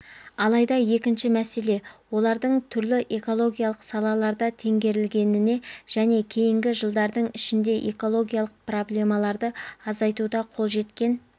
алайда екінші мәселе олардың түрлі экологиялық салаларда теңгерілгеніне және кейінгі жылдардың ішінде экологиялық проблемаларды азайтуда қол жеткен